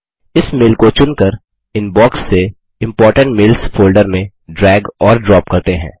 इस मेल को चुनकर इनबॉक्स से इम्पोर्टेंट मेल्स फोल्डर में ड्रैग और ड्रॉप करते हैं